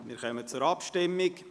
Wir kommen zu den Abstimmungen.